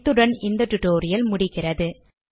இத்துடன் இந்த டுடோரியல் முடிவடைகிறது